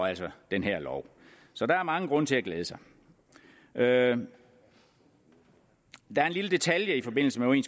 den her lov så der er mange grunde til at glæde sig der er en lille detalje i forbindelse med